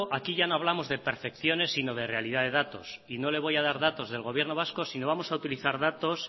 aquí ya no hablamos de percepciones sino de realidad de datos y no le voy a dar datos del gobierno vasco sino vamos a utilizar datos